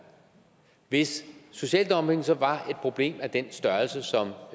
hvis social dumping så var et problem af den størrelse som